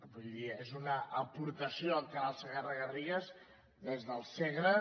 vull dir és una aportació el canal segarra garrigues des del segre